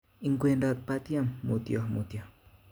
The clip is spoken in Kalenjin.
Ikwedot batiem mutyo mutyo